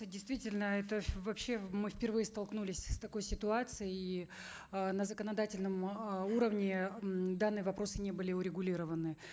действительно это вообще мы впервые столкнулись с такой ситуацией и э на законодательном э уровне м данные вопросы не были урегулированы